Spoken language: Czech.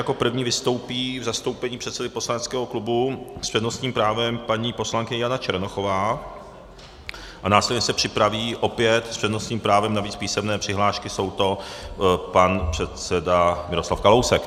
Jako první vystoupí v zastoupení předsedy poslaneckého klubu s přednostním právem paní poslankyně Jana Černochová a následně se připraví opět s přednostním právem, navíc písemné přihlášky jsou to, pan předseda Miroslav Kalousek.